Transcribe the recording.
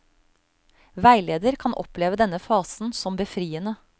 Veileder kan oppleve denne fasen som befriende.